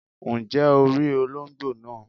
Ǹjẹ́ o rí olóńgbò naa